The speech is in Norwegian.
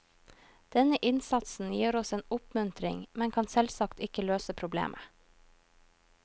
Denne innsatsen gir oss en oppmuntring, men kan selvsagt ikke løse problemet.